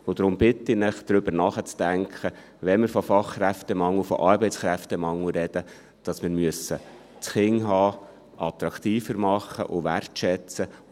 Deshalb bitte ich Sie, darüber nachzudenken, wenn wir von Fachkräftemangel, von Arbeitskräftemangel sprechen, dass wir das Kinderhaben attraktiver machen und wertschätzen müssen.